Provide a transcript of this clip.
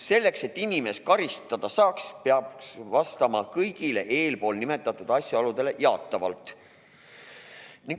Selleks, et inimest karistada saaks, peaks vastama kõigile eespool nimetatud asjaoludele jaatavalt.